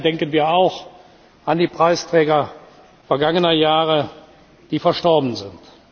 Ganz sicher denken wir auch an die Preisträger vergangener Jahre, die verstorben sind.